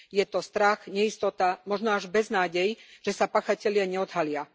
Je to strach, neistota, možno až beznádej, že sa páchatelia neodhalia.